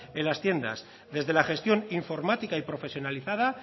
en las tiendas desde la gestión informática y profesionalizada